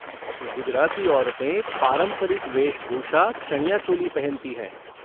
गुजराती औरतें पारंपरिक वेशभूषा चनियो चोली पहनती हैं।